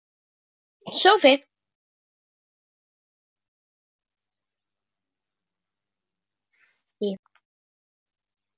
Fínn sófi!